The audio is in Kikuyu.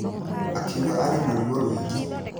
Akiuga arĩ na ruo rwingĩ.